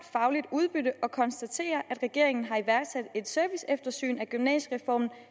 udbytte og konstaterer at regeringen har iværksat et serviceeftersyn af gymnasiereformen